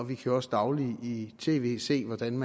vi kan også dagligt i tv se hvordan en